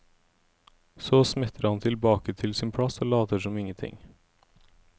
Så smetter han tilbake til sin plass og later som ingenting.